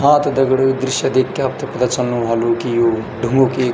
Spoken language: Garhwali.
हां त दगड़ियों यू दृश्य देख कि आप्थे पता चलनु ह्वालु कि यू ढूंगू की --